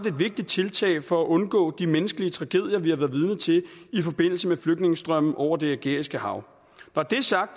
et vigtigt tiltag for at undgå de menneskelige tragedier man vidne til i forbindelse med flygtningestrømmen over det ægæiske hav når det er sagt